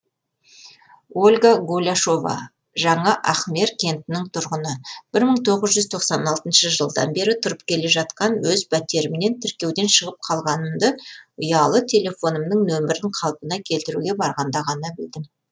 ольга голяшова жаңа ахмер кентінің тұрғыны бір мың тоғыз жүз тоқсан алтыншы жылдан бері тұрып келе жатқан өз пәтерімнен тіркеуден шығып қалғанымды ұялы телефонымның нөмірін қалпына келтіруге барғанда ғана білдім